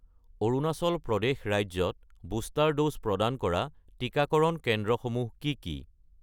অৰুণাচল প্ৰদেশ ৰাজ্যত booster dose প্ৰদান কৰা টিকাকৰণ কেন্দ্ৰসমূহ কি কি?